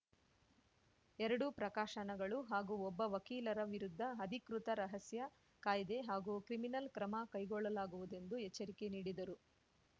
ಎರಡು ಪ್ರಕಾಶನಗಳು ಹಾಗೂ ಒಬ್ಬ ವಕೀಲರ ವಿರುದ್ಧ ಅಧಿಕೃತ ರಹಸ್ಯ ಕಾಯ್ದೆ ಹಾಗೂ ಕ್ರಿಮಿನಲ್ ಕ್ರಮ ಕೈಗೊಳ್ಳಲಾಗುವುದೆಂದು ಎಚ್ಚರಿಕೆ ನೀಡಿದರು